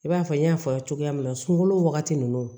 I b'a fɔ n y'a fɔ a ye cogoya min na sunkalo wagati ninnu